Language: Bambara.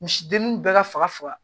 Misi dennin bɛɛ ka faga faga